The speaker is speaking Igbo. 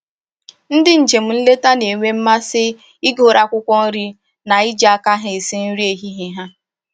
Ndị njem nleta na-enwe mmasị ịkụrụ akwụkwọ nri na iji aka ha esi nri ehihie ha